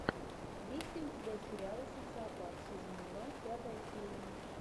есть ли у тебя сериал социопат сезон два пятая серия